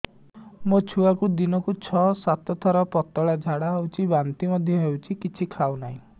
ମୋ ଛୁଆକୁ ଦିନକୁ ଛ ସାତ ଥର ପତଳା ଝାଡ଼ା ହେଉଛି ବାନ୍ତି ମଧ୍ୟ ହେଉଛି କିଛି ଖାଉ ନାହିଁ